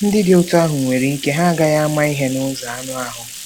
Ndị dị otú ahụ nwere ike ha agaghị ama ihe n'ụzọ anụ ahụ́.